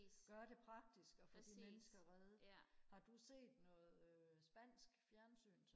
gøre det praktiske og få de mennesker reddet har du set noget øh spansk fjernsyn